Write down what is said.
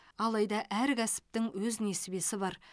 алайда әр кәсіптің өз несібесі бар